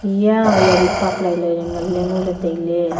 eya a yari park lai lai ley ngan ley ngo ley tai ley.